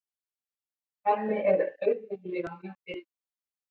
Hemmi er auðheyrilega mjög bitur.